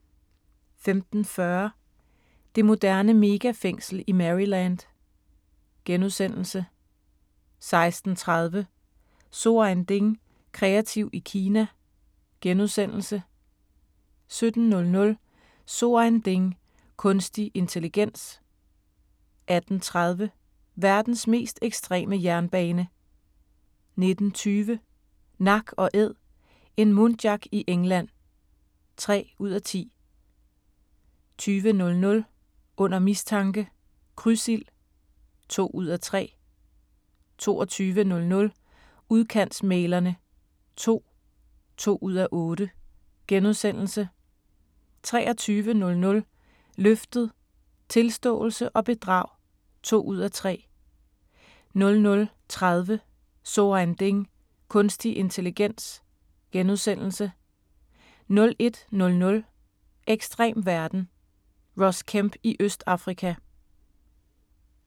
15:40: Det moderne megafængsel i Maryland * 16:30: So ein Ding: Kreativ i Kina * 17:00: So ein Ding: Kunstig intelligens 18:30: Verdens mest ekstreme jernbane 19:20: Nak & æd - en muntjac i England (3:10) 20:00: Under mistanke – Krydsild (2:3) 22:00: Udkantsmæglerne II (2:8)* 23:00: Løftet - Tilståelse og bedrag (2:3) 00:30: So ein Ding: Kunstig intelligens * 01:00: Ekstrem verden – Ross Kemp i Østafrika